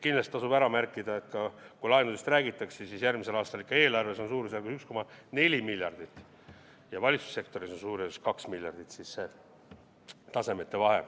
Kindlasti tasub laenudest rääkides ära märkida, et järgmisel aastal on eelarves suurusjärgus 1,4 miljardit ja valitsussektoris suurusjärgus 2 miljardit see tasemete vahe.